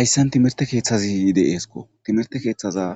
hayssan timerte keeththazi de7eesko timerte keeththaza